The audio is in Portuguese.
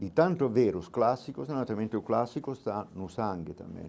De tanto ver os clássicos, naturalmente o clássico está no sangue também.